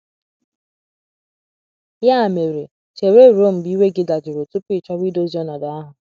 Ya mere, chere ruo mgbe iwe gị dajụrụ tupu ị chọwa idozi ọnọdụ ahụ.